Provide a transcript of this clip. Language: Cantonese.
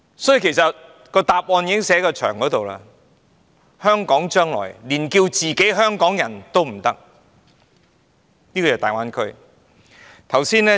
因此，答案其實已寫在牆上，香港市民將來再不可自稱"香港人"，而要說是"大灣區人"。